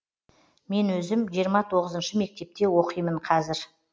мен өзім жиырма тоғызыншы мектепте оқимын қазір